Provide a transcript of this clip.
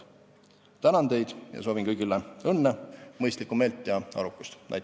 " Tänan teid ja soovin kõigile õnne, mõistlikku meelt ja arukust!